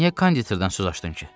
Niyə konditordan söz açdın ki?